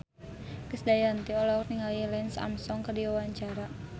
Krisdayanti olohok ningali Lance Armstrong keur diwawancara